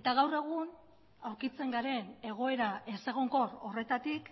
eta gaur egun aurkitzen garen egoera ezegonkor horretatik